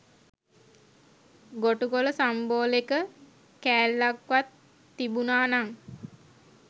ගොටුකොල සම්බෝලෙක කෑල්ලක්වත් තිබුණා නං